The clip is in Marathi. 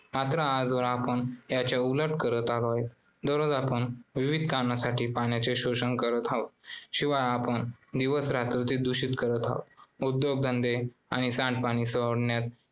मात्र आजवर आपण याच्या उलट करत आलो आहोत. दररोज आपण विविध कारणासाठी पाण्याचे शोषण करत आहोत. शिवाय आपण दिवस-रात्र ते दूषित करत आहोत. उद्योगधंदे आणि सांडपाणी सोडण्यात